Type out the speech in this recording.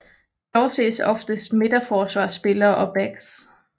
Dog ses oftest midterforsvarsspillere og backs